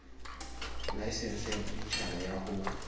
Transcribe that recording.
laesense ya boditjhaba ya ho